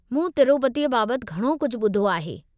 मूं तिरूपतीअ बाबति घणो कुझु ॿुधो आहे।